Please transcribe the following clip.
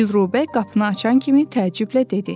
Dilrubə qapını açan kimi təəccüblə dedi.